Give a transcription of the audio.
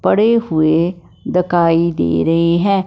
पड़े हुए दकाई दे रहे है।